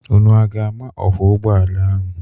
Unu aga-ama ọkwọ ụgbọala ahụ?